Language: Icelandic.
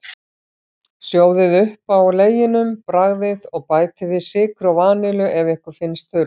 Sjóðið upp á leginum, bragðið, og bætið við sykri og vanillu ef ykkur finnst þurfa.